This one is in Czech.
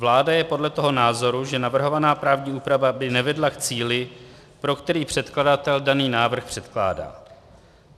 Vláda je proto toho názoru, že navrhovaná právní úprava by nevedla k cíli, pro který předkladatel daný návrh předkládá.